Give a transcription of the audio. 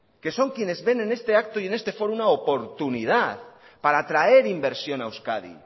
que son quiénes ven en este acto y en este foro una oportunidad para traer inversión a euskadi